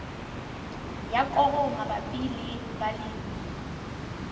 ya koro mabapi le balemi